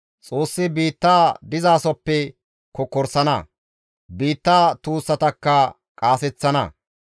Xoossi biitta dizasoppe kokkorsana; biitta tuussatakka qaaseththana.